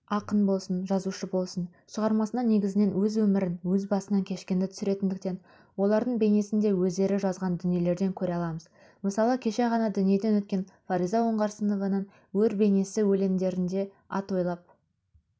ақын болсын жазушы болсын шығармасына негізінен өз өмірін өз басынан кешкенді түсіретіндіктен олардың бейнесін де өздері жазған дүниелерден көре аламыз мысалы кеше ғана дүниеден өткен фариза оңғарсынованың өр бейнесі өлеңдерінде ат ойлап